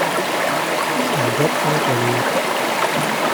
ильдар анатольевич